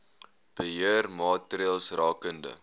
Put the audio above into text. beheer maatreëls rakende